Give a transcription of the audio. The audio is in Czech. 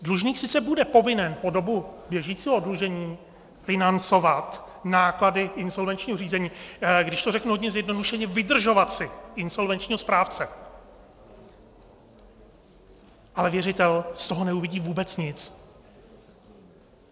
Dlužník sice bude povinen po dobu běžícího oddlužení financovat náklady insolvenčního řízení, když to řeknu hodně zjednodušeně, vydržovat si insolvenčního správce, ale věřitel z toho neuvidí vůbec nic.